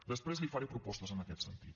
després li faré propostes en aquest sentit